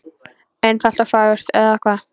Einfalt og fagurt, eða hvað?